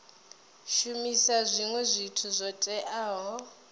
shumisa zwinwe zwithu zwo teaho